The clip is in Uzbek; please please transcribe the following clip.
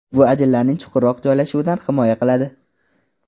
Bu ajinlarning chuqurroq joylashuvidan himoya qiladi.